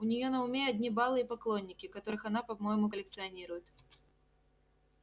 у нее на уме одни балы и поклонники которых она по-моему коллекционирует